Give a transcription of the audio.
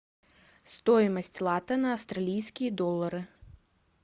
стоимость лата на австралийские доллары